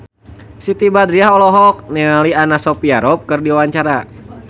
Siti Badriah olohok ningali Anna Sophia Robb keur diwawancara